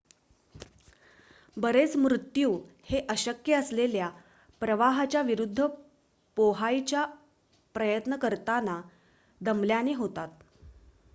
बरेच मृत्यू हे अशक्य असलेल्या प्रवाहाच्या विरुद्ध पोहायचा प्रयत्न करताना दमल्याने होतात